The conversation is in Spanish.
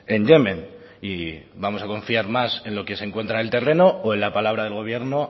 en yemen y vamos a confiar más en lo que se encuentra en el terreno o en la palabra del gobierno